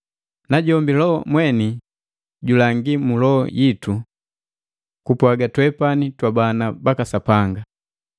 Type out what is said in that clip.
Najombi Loho mweni julangi mu loho yitu kupwaga twepani twabana baka Sapanga.